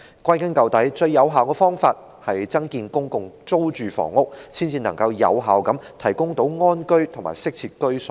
歸根究底，最有效的方法是增建公共租住房屋，才能夠有效地為香港人提供安居及適切的居所。